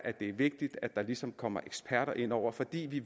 det vigtigt at der ligesom kommer eksperter ind over fordi vi